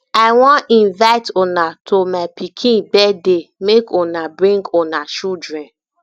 i wan invite una to my pikin birthday make una bring una children